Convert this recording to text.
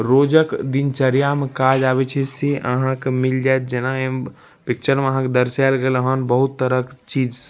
रोजक दिनचर्या में काज आवे छै से अहां के मिल जाएत जना एमे पिक्चर में दर्शायल गेल हन बहुत तरह के चीज--